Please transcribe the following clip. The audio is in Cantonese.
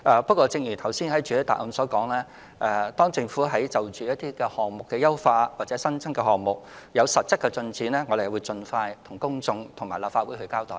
不過，正如我在主體答覆所說，當政府就項目優化或新增項目有實質進展時，會盡快向公眾並到立法會交代。